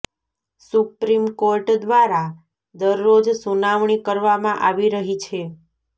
supreme court દ્વારા દરરોજ સુનાવણી કરવામાં આવી રહી છે